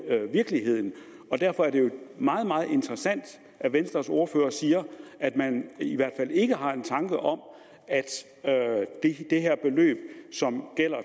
virkeligheden og derfor er det jo meget meget interessant at venstres ordfører siger at man i hvert fald ikke har tanker om at det her beløb som gælder